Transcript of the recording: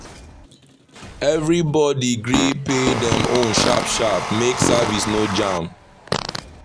every body gree pay dem own sharp-sharp make service no jam.